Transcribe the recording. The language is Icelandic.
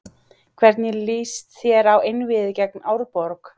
Hvernig lýst þér á einvígið gegn Árborg?